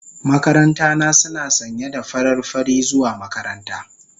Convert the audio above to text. Makaranta na suna sanye da farar fari zuwa makaranta.